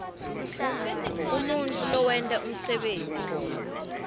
umuntfu lowenta umsebenti